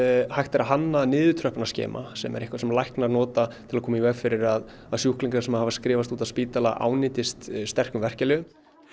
hægt er að hanna sem er eitthvað sem læknar nota til þess að koma í veg fyrir að að sjúklingar sem hafa skrifast út af spítala ánetjist sterkum verkjalyfjum